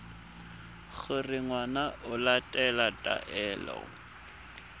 gore ngwana o latela taelo